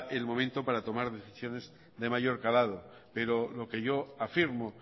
el momento para tomar decisiones de mayor calado pero lo que yo afirmo